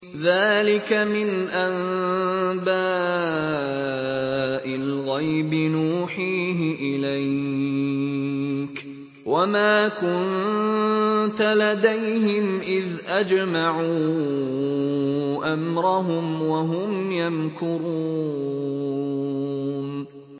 ذَٰلِكَ مِنْ أَنبَاءِ الْغَيْبِ نُوحِيهِ إِلَيْكَ ۖ وَمَا كُنتَ لَدَيْهِمْ إِذْ أَجْمَعُوا أَمْرَهُمْ وَهُمْ يَمْكُرُونَ